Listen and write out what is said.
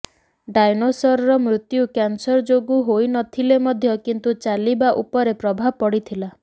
ଡାଇନୋସରର ମୃତ୍ୟୁ କ୍ୟାନସର ଯୋଗୁଁ ହୋଇନଥିଲେ ମଧ୍ୟ କିନ୍ତୁ ଚାଲିବା ଉପରେ ପ୍ରଭାବ ପଡ଼ିଥିଲା